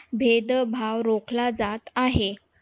भेदभाव रोखला जात आहे.